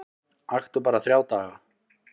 Aktu bara þrjá daga